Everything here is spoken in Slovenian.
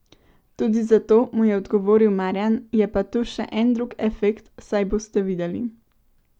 Tudi zato, mu je odgovoril Marjan, je pa tu še en drug efekt, saj boste videli.